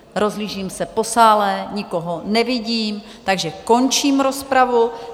Rozhlížím se po sále, nikoho nevidím, takže končím rozpravu.